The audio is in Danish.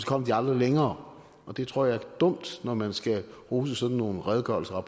kom de aldrig længere det tror jeg er dumt når man skal rose sådan nogle redegørelser og